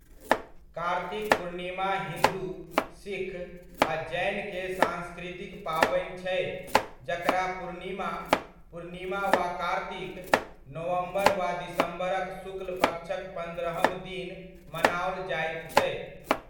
कार्तिक पूर्णिमा हिन्दु, सिख आ जैन के सांस्कृतिक पावनि छै जकरा पूर्णिमा, पूर्णिमा वा कार्तिक, नवम्बर वा दिसम्बर'क शुक्लपक्षक पन्द्रहम दिन मनाओल जाइत छै।